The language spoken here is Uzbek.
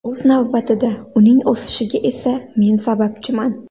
O‘z navbatida uning o‘sishiga esa men sababchiman”.